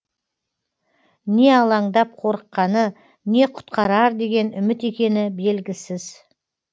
не алаңдап қорыққаны не құтқарар деген үміт екені белгісіз